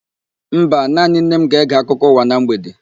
Mba, naanị nne m ga-ege akụkọ ụwa na mgbede.